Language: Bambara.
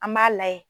An b'a layɛ